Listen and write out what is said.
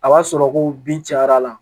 A b'a sɔrɔ ko bin cayara la